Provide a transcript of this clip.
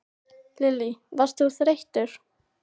Lillý: Varst þú þreyttur?